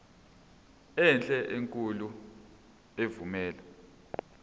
enhle enkulu evumela